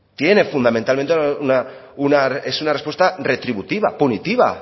tiene fundamentalmente una respuesta retributiva punitiva